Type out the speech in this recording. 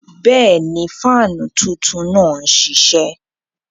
Bẹ́ẹ̀ni, faanú tuntun naá n ṣiṣẹ.